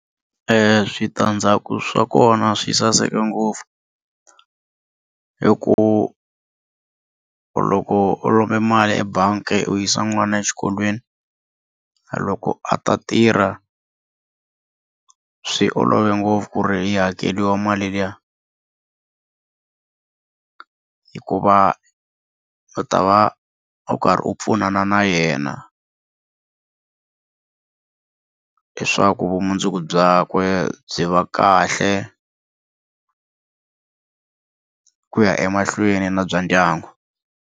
Switandzhaku swa kona swi saseke ngopfu hikuva loko u lomba mali ebangi u yisa n'wana exikolweni loko a ta tirha swi olove ngopfu ku ri yi hakeriwa mali liya hikuva u ta va u karhi u pfunana na yena leswaku vumundzuku byakwe byi va kahle ku ya emahlweni na bya ndyangu.